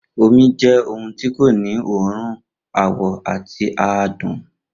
Omi jẹ́ ohun èlò tí kò ní òórùn, àwọ̀ àti, àádùn